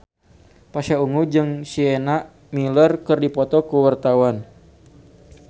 Pasha Ungu jeung Sienna Miller keur dipoto ku wartawan